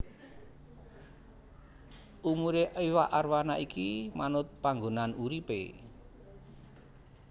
Umurè iwak arwana iki manut panggonan uripè